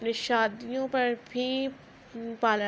پر بھی پارلر --